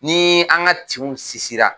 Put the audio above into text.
Ni an ka tinw sinsinra